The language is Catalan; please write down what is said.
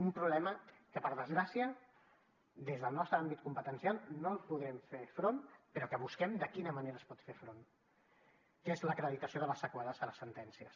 un problema que per desgràcia des del nostre àmbit competen cial no hi podrem fer front però que busquem de quina manera s’hi pot fer front que és l’acreditació de les seqüeles de les sentències